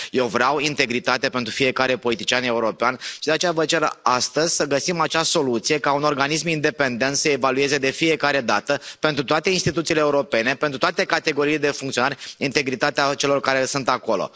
Eu vreau integritate pentru fiecare politician european, și de aceea vă cer astăzi să găsim acea soluție ca un organism independent să evalueze de fiecare dată, pentru toate instituțiile europene, pentru toate categoriile de funcționari, integritatea celor care sunt acolo.